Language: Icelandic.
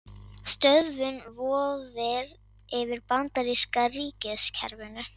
Stöðvun vofir yfir bandaríska ríkiskerfinu